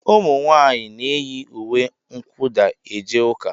Ụmụ nwanyị na-eyi ùwé kwudà eje ụka.